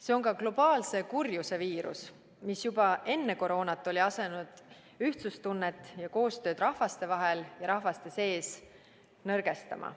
See on globaalse kurjuse viirus, mis juba enne koroonat oli asunud ühtsustunnet ja koostööd rahvaste vahel ja rahvaste sees nõrgestama.